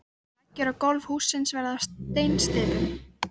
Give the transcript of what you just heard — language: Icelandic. Veggir og gólf hússins verða af steinsteypu.